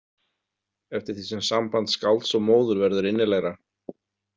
, eftir því sem samband skálds og móður verður innilegra.